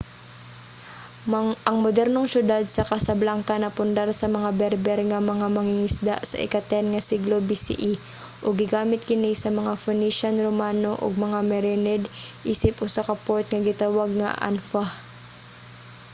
ang modernong syudad sa casablanca napundar sa mga berber nga mga mangingisda sa ika-10 nga siglo bce ug gigamit kini sa mga phoenician romano og mga merenid isip usa ka port nga gitawag nga anfa